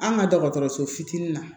An ka dɔgɔtɔrɔso fitinin na